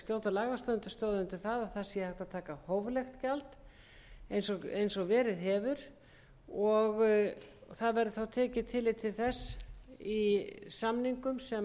að taka hóflegt gjald eins og verið hefur tekið verður tillit til þess í samningum sem